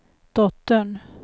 dottern